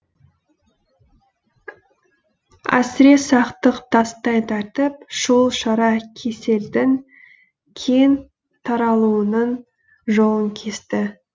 әсіресақтық тастай тәртіп шұғыл шара кеселдің кең таралуының жолын кесті